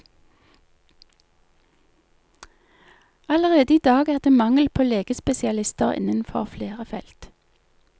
Allerede i dag er det mangel på legespesialister innenfor flere felt.